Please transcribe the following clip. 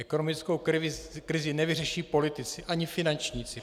Ekonomickou krizi nevyřeší politici ani finančníci.